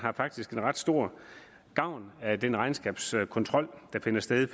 faktisk har ret stor gavn af den regnskabskontrol der finder sted